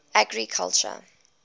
agriculture